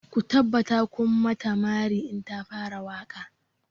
Ku tabbata kun mata mari in ta fara waƙa!